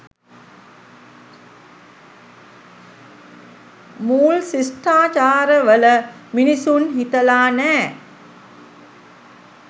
මූල් ශිෂ්ඨාචාරවල මිනිසුන් හිතලා නෑ.